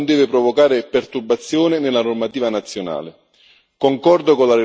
La normativa europea non deve provocare perturbazione nella normativa nazionale.